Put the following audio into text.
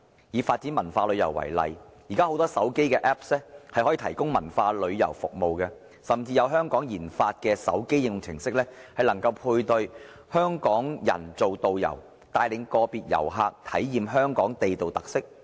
以發展文化旅遊為例，現在很多手機應用程式可以提供文化旅遊服務，甚至有香港研發的手機應用程式，能夠配對香港人做導遊，帶領個別遊客體驗香港地道特色。